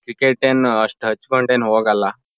Cricket ಏನ್ ಅಷ್ಟ್ ಹಚ್ಕೊಂಡ್ ಏನ್ ಹೋಗಲ್ಲಾ.